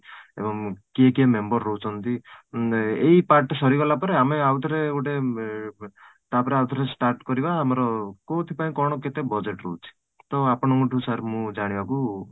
ଏବଂ କିଏ କିଏ member ରହୁଛନ୍ତି ଏଇ ଏଇ part ଟା ସରିଗଲା ପରେ ଆମେ ଆଉ ଥରେ ଗୋଟେ ଉମ ତାପରେ ଆଉ ଥରେ start କରିବା ଆମର କୋଉଠି ପାଇଁ କ'ଣ କେତେ budget ରହୁଛି ? ତ ଆପଣଙ୍କୁ ଠୁ sir ମୁଁ ଜାଣିବାକୁ